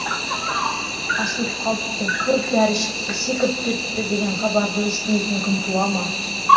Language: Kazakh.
асылып қалыпты көп дәрі ішіпті секіріп кетіпті деген хабарды естімейтін күн туа ма